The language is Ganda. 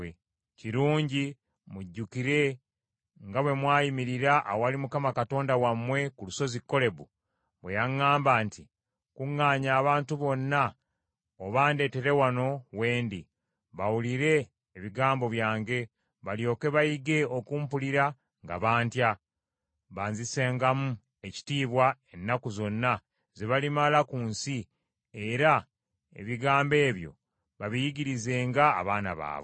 Kirungi mujjukire nga bwe mwayimirira awali Mukama Katonda wammwe, ku lusozi Kolebu, bwe yaŋŋamba nti, ‘Kuŋŋaanya abantu bonna obandeetere wano we ndi, bawulire ebigambo byange, balyoke bayige okumpulira nga bantya; banzisengamu ekitiibwa ennaku zonna ze balimala ku nsi, era ebigambo ebyo babiyigirizenga abaana baabwe.